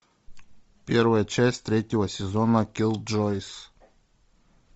первая часть третьего сезона киллджойс